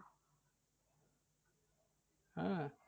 আহ